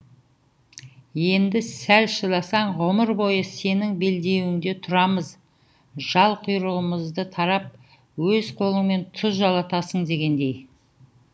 енді сәл шыдасаң ғұмыр бойы сенің белдеуіңде тұрамыз жал құйрығымызды тарап өз қолыңмен тұз жалатасың дегендей